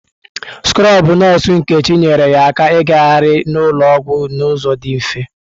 Skrọbụ nọọsụ Nkechi nyeere ya aka igahari n'ụlọ ọgwụ n'ụzọ dị mfe.